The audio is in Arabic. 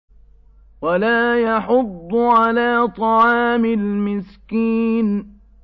وَلَا يَحُضُّ عَلَىٰ طَعَامِ الْمِسْكِينِ